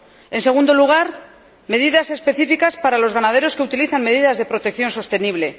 en segundo lugar, adoptar medidas específicas para los ganaderos que utilizan medidas de protección sostenible